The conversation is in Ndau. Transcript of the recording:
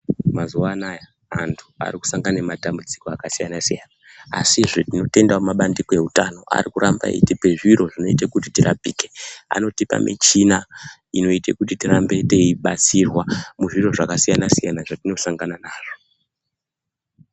Mazuva anaya antu ari ku sangana ne matambudziko aka siyana siyana asizve tino tendawo ma bandiko ewu tano ari kuramba eyitipa zviro zvinoite kuti tirapike anotipa michina inoiite kuti tirambe teyi batsirwa muzviro zvaka siyana siyana zvatino sangana nazvo.